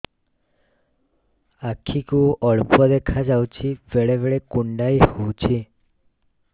ଆଖି କୁ ଅଳ୍ପ ଦେଖା ଯାଉଛି ବେଳେ ବେଳେ କୁଣ୍ଡାଇ ହଉଛି